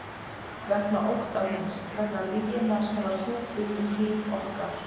Vegna ótta míns, vegna lyginnar sem var hjúpuð um líf okkar.